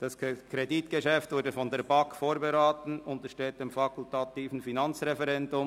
Das Kredit wurde von der BaK vorberaten und untersteht dem fakultativen Finanzreferendum.